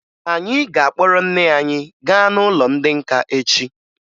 Anyị ga-akpọrọ nne anyị gaa n'ụlọ ndị nka echi